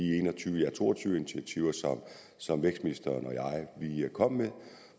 to og tyve initiativer som vækstministeren og jeg kom med